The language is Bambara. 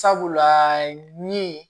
Sabula ni